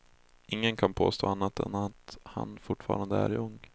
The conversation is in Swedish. Ingen kan påstå annat än att han fortfarande är ung.